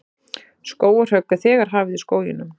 Skógarhögg er þegar hafið í skóginum